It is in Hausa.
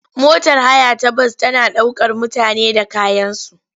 Motar haya ta bas tana ɗaukar mutane da kayansu.